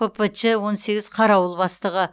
ппч он сегіз қарауыл бастығы